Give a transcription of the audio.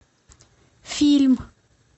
фильм